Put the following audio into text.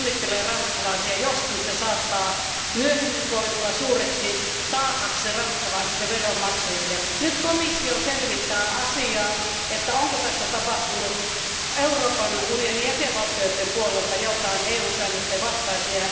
Onnittelen siitä ranskalaisia, joskin se saattaa myöhemmin koitua suureksi taakaksi ranskalaisille veronmaksajille. Nyt komissio selvittää, onko tässä tapahtunut Euroopan unionin jäsenvaltioiden puolelta jotain EU säännösten vastaista.